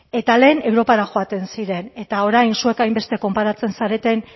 eta lehen europara joaten ziren eta orain zuek hainbeste konparatzen zareten